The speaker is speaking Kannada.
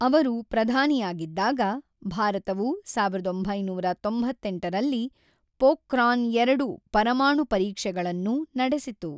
ಅವರು ಪ್ರಧಾನಿಯಾಗಿದ್ದಾಗ, ಭಾರತವು ಸಾವಿರದ ಒಂಬೈನೂರ ತೊಂಬತ್ತೆಂಟರಲ್ಲಿ ಪೋಖ್ರಾನ್-ಎರಡು ಪರಮಾಣು ಪರೀಕ್ಷೆಗಳನ್ನು ನಡೆಸಿತು.